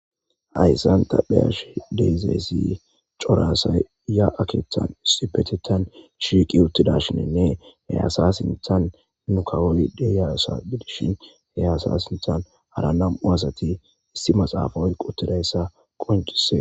Hayssan ta be'ashe de'isi cora asa ya'a keththan issipetetan shiiqi uttidashinenne he asa sinththan nu kawoli deyaasa gidishin he asa sinthan hara nam'u asati issi maxaafa oyqqi uttidayssa qonccises